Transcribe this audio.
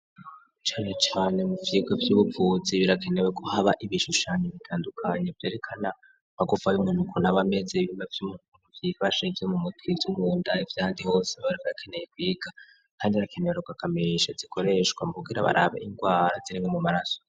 Cane cane mu vyigwa vy'ubuvuzi birakenewe ko haba ibishushanyo bitandukanye vyerekana amagufa y'umuntu ukuntu abameze, ibihimba vy'umuntu uko vyifashe, ivyo mu mutwe, ivyo mu nda, n'ivy'ahandi hose birakeneye kwiga kandi harakenewe rugagamesha zikoreshwa mu kugira barabe ingwara zirimwo mu maraso.